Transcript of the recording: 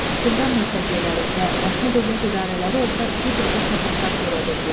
Tehran mütəceyləri və rəsmi dövlət idarələri orda cürbəcür fəsadlar törədirdilər.